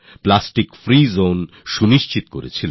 plastic free zoneএর ব্যবস্থা নিশ্চিত করেছেন